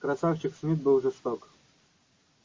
красавчик смит был жесток